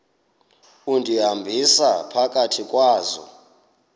undihambisa phakathi kwazo